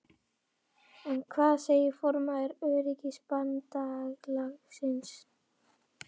En hvað segir formaður Öryrkjabandalagsins?